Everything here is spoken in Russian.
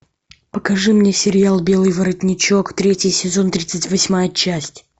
покажи мне сериал белый воротничок третий сезон тридцать восьмая часть